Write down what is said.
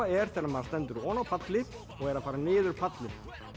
er þegar maður stendur oná palli og er að fara niður pallinn